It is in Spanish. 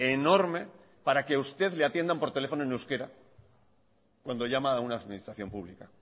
enorme para que usted le atiendan por teléfono en euskera cuando llama a una administración pública